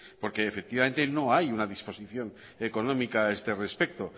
porque efectivamente no hay una disposición económica a este respecto